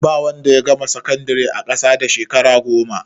Ba wanda ya gama sakandire a ƙasa da shekara goma.